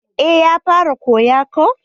Eh ya fara koya ko